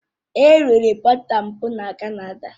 È riri bọta tat mbụ na Canada